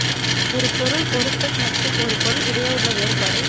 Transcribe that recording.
ஒரு பொருள் பொருத்தம் மற்றும் ஒரு பொருள் இடையே உள்ள வேறுபாடு